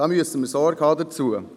Dazu müssen wir Sorge tragen.